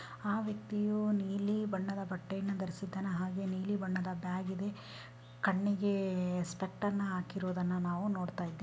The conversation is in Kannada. ಆ ವ್ಯಕ್ತಿಯು ನೀಲಿ ಬಣ್ಣದ ಬಟ್ಟೆನ ಧರಿಸಿದ್ದಾನೆ ಹಾಗೇನೆ ನೀಲೀ ಬಣ್ಣದ ಬ್ಯಾಗ್ ಇದೆ ಕಣ್ಣಿಗೆ ಸ್ಪೆಕ್ಟರ್ನ್ ಹಾಕಿರೋದನ್ನ ನಾವು ನೋಡ್ತಾ ಇದೀವಿ.